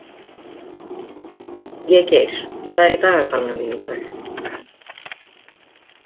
Végeir, hvað er í dagatalinu mínu í dag?